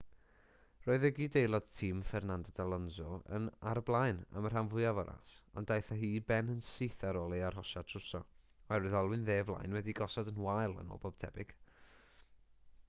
roedd ei gydaelod tîm fernando alonso ar y blaen am y rhan fwyaf o'r ras ond daeth â hi i ben yn syth ar ôl ei arhosiad trwsio oherwydd olwyn dde flaen wedi'i gosod yn wael yn ôl pob tebyg